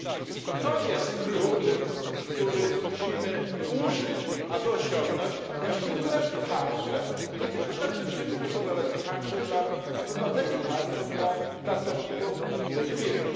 I to jest klucz, którego musimy użyć, aby osiągnąć właściwy cel nie tylko dla przedsiębiorców, ale także dla obywateli, także dla pracowników tych firm.